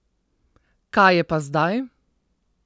Kaj je pa zdaj?